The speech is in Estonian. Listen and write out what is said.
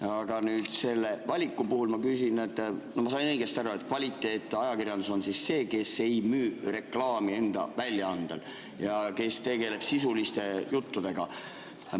Aga selle valiku puhul ma küsin, kas ma sain õigesti aru, et kvaliteetajakirjandus on see, kes ei müü reklaami enda väljaandele ja tegeleb sisuliste juttudega.